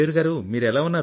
మయూర్ గారూ